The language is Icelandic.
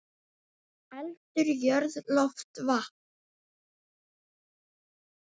Eldur, jörð, loft, vatn.